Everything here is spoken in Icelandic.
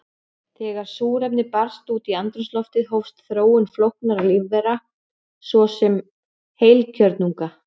Þegar súrefni barst út í andrúmsloftið hófst þróun flóknara lífvera, svo sem heilkjörnunga.